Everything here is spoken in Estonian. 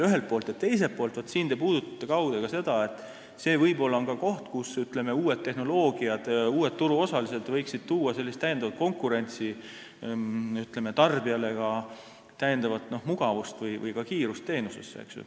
Teisalt te puudutasite oma küsimusega kaude ka seda, et see võib olla koht, kus, ütleme, uued turuosalised võiksid oma tehnoloogiaga tuua konkurentsi ja pakkuda tarbijale mugavamat või kiiremat teenust.